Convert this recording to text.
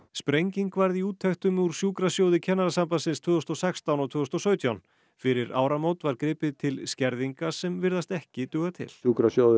sprenging varð í úttektum úr sjúkrasjóði Kennarasambandsins tvö þúsund og sextán og tvö þúsund og sautján fyrir áramót var gripið til skerðinga sem virðast ekki duga til sjúkrasjóður